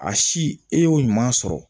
A si e y'o ɲuman sɔrɔ